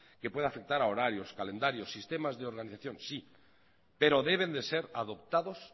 que puede afectar a horarios calendarios y sistemas de organización pero deben de ser adoptados